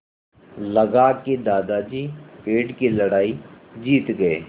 लगा कि दादाजी पेड़ की लड़ाई जीत गए